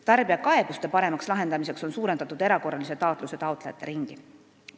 Tarbijate kaebuste paremaks lahendamiseks on suurendatud erakorralise taatluse taotlejate ringi.